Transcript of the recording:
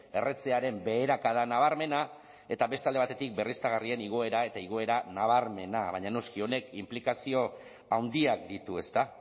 erretzearen beherakada nabarmena eta beste alde batetik berriztagarrien igoera eta igoera nabarmena baina noski honek inplikazio handiak ditu ezta